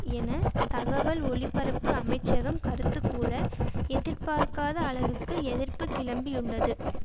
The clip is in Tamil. என தகவல் ஒளிபரப்பு அமைச்சகம் கருத்துகூற எதிர்பார்க்காத அளவுக்கு எதிர்ப்பு கிளம்பியுள்ளது